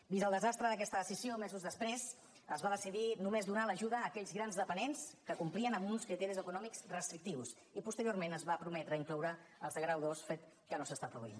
vist el desastre d’aquesta decisió mesos després es va decidir només donar l’ajuda a aquells grans dependents que complien amb uns criteris econòmics restrictius i posteriorment es va prometre incloure hi els de grau dos fet que no s’està produint